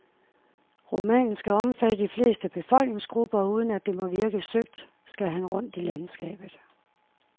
Romanen skal omfatte de fleste befolkningsgrupper, og uden at det må virke søgt, skal han rundt i landskabet.